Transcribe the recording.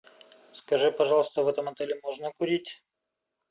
скажи пожалуйста в этом отеле можно курить